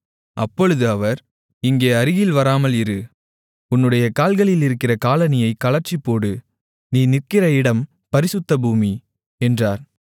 அப்பொழுது அவர் இங்கே அருகில் வராமல் இரு உன்னுடைய கால்களில் இருக்கிற காலணியைக் கழற்றிப்போடு நீ நிற்கிற இடம் பரிசுத்த பூமி என்றார்